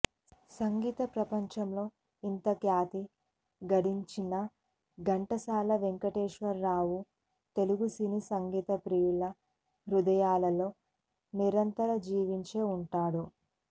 సంగీత ప్రపంచంలో ఇంతఖ్యాతి గడించిన ఘంటసాల వెంకటేశ్వరరావ్ఞ తెలుగు సినీ సంగీత ప్రియుల హృదయాలలో నిరంతరం జీవించే ఉంటాడు